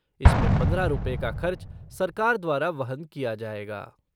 इसमें पंद्रह रुपए का खर्च सरकार द्वारा वहन किया जाएगा।